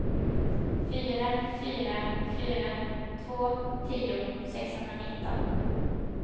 fyra fyra fyra två tio sexhundranitton